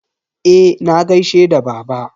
Eh, na gaishe da baba.